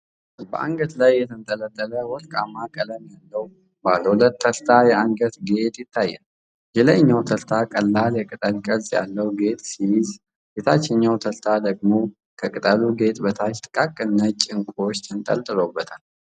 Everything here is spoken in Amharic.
በአንገት ላይ የተንጠለጠለ ወርቃማ ቀለም ያለው ባለ ሁለት ተርታ የአንገት ጌጥ ይታያል። የላይኛው ተርታ ቀላል የቅጠል ቅርጽ ያለው ጌጥ ሲይዝ፤ የታችኛው ተርታ ደግሞ ከቅጠሉ ጌጥ በታች ጥቃቅን ነጭ ዕንቁዎች ተንጠልጥለውበታል።